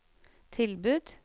tilbud